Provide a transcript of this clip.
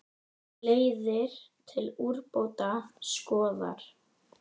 Leiðir til úrbóta skoðar.